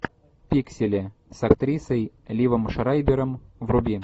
пиксели с актрисой ливом шрайбером вруби